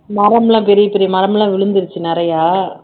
மரம் எல்லாம் பெரிய பெரிய மரம் எல்லாம் விழுந்திருச்சு நிறையா